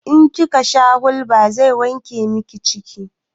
In kika sha hulba zai wanke miki ciki